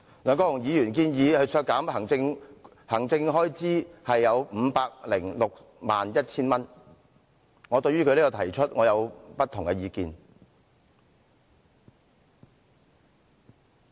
對於梁議員建議削減該分目全年預算開支 5,061,000 元的修正案，我持不同意見。